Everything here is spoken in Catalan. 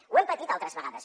ho hem patit altres vegades